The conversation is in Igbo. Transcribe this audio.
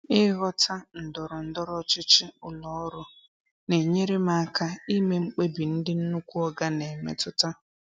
Ịghọta ndọrọ ndọrọ ọchịchị ụlọ ọrụ na-enyere m aka ime mkpebi ndị "nnukwu oga" na-emetụta.